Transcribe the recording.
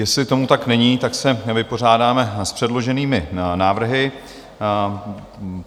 Jestli tomu tak není, tak se vypořádáme s předloženými návrhy.